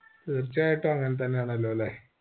തീർച്ചയായിട്ടും അങ്ങനെത്തന്നെയാണെല്ലോല്ലേ